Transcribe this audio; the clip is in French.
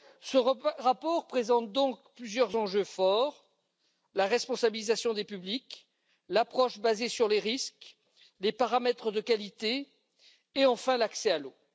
Ce rapport présente donc plusieurs enjeux forts la responsabilisation des publics, l'approche basée sur les risques, les paramètres de qualité et enfin l'accès à l'eau.